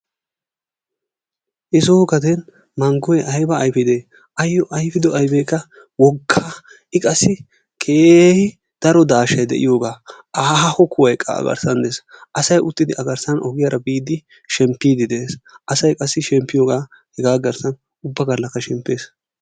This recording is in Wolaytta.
He soo gaden manggoy ayba ayfidee! asoo ayfido ayfeekka woggaa. i qassi keehi daro daahshsay de'iyoogaa aaho kuwayikka a garssaan dees. Asay uttidi a garssaan ogiyaara biidi shemppiidi dees. Asay qassi shemppiyoogaa hegaa garssaan ubba gallaasikka shemppees.